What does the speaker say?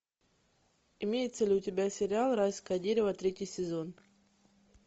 имеется ли у тебя сериал райское дерево третий сезон